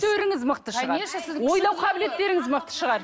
мықты шығар ойлау қабілеттеріңіз мықты шығар